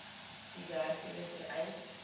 u werkgewer vereis